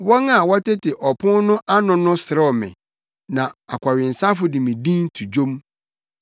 Wɔn a wɔtete ɔpon no ano no serew me, na akɔwensafo de me din to dwom.